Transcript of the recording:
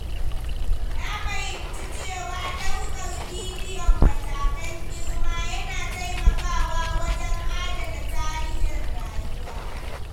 Na fahimci cewa ɗaukarbidiyon matakan girma yana taimakawa wajen adana tarihin rayuwa.